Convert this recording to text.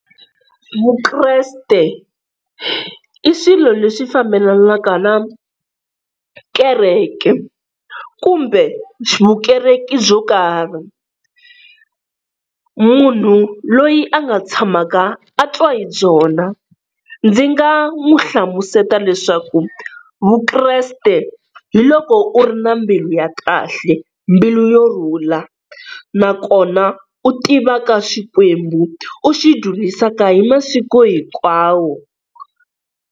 Vukreste i swilo leswi fambelanaka na kereke kumbe vukereki byo karhi, munhu loyi a nga tshamaka a twa hi byona ndzi nga n'wi hlamusela leswaku Vukreste hi loko u ri na mbilu ya kahle, mbilu yo rhula nakona u tivaka Xikwembu u xi dzunisaka hi masiku hinkwawo.